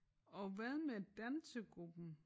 Og hvad med dansegruppen?